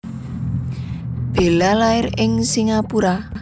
Bella lair ing Singapura